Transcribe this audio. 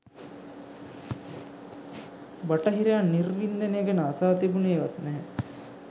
බටහිරයන් නිර්වින්දනය ගැන අසා තිබුනේ වත් නැහැ.